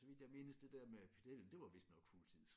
Så vidt jeg mindes det der med pedellen det var vist nok fuldtids